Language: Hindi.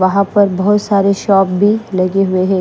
वहां पर बहुत सारे शॉप भी लगे हुए हैं।